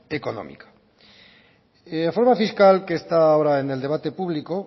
económica la reforma fiscal que está ahora en el debate público